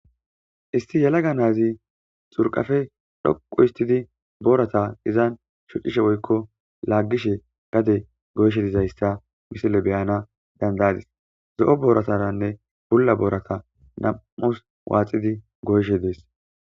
isti yalaga naazi xurqafe dhoqu histidi boorata izan shocishe woykko laaggishe gade goyshe dizayssa misile beyana danda7adis zo7o boorataranne bulla boorata nam7us waaxidi goyshe dees